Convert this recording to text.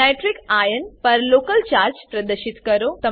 nitrate ion nitrate ion પર local charge પ્રદશિત કરો